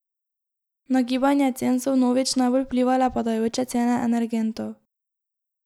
Na gibanje cen so vnovič najbolj vplivale padajoče cene energentov.